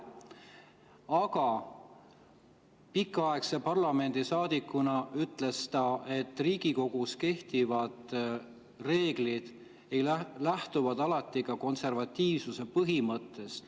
Aga pikaaegse parlamendisaadikuna ütles ta, et Riigikogus kehtivad reeglid lähtuvad alati ka konservatiivsuse põhimõttest.